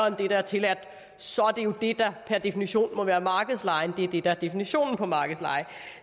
end det der er tilladt så er det jo det der per definition må være markedslejen det er det der er definitionen på markedsleje